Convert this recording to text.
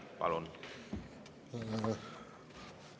Palun!